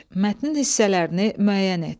Mətnin hissələrini müəyyən et.